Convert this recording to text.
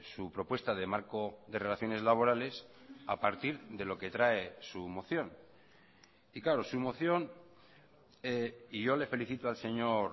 su propuesta de marco de relaciones laborales a partir de lo que trae su moción y claro su moción y yo le felicito al señor